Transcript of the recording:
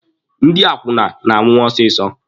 Ndị akwụna na-anwụ ọsịsọ.